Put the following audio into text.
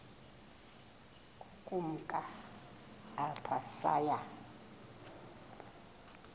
ukumka apho saya